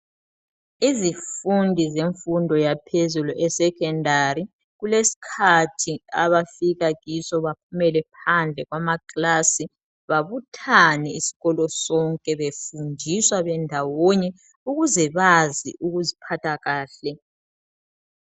Izifundi zemfundo ephezulu esecondary kuleskhathi abafika kiso baphumele phandle kwamaclass babuthane isikolo sonke befundiswa ndawonye ukuze bazi ukuziphatha kahle